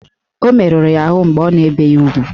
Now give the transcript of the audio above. O meruru ya ahụ mgbe a na-ebe ya ugwu